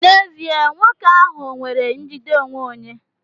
N'ezie, nwoke ahụ nwere njide onwe onye.